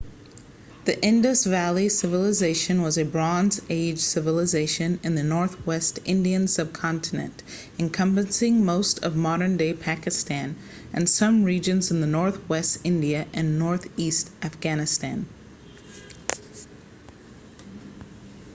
the indus valley civilization was a bronze age civilisation in the northwest indian subcontinent encompassing most of modern-day pakistan and some regions in northwest india and northeast afghanistan